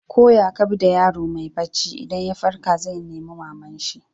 Ko ya ka bi da yaro mai barci, idan ya farka zai nima mama'n shi.